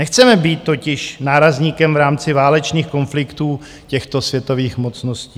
Nechceme být totiž nárazníkem v rámci válečných konfliktů těchto světových mocností.